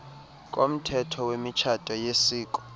komthetho wemitshato yesiko